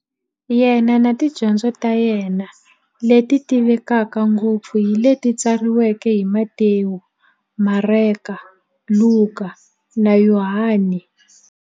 Yena na tidyondzo ta yena, leti tivekaka ngopfu hi leti tsariweke hi-Matewu, Mareka, Luka, na Yohani.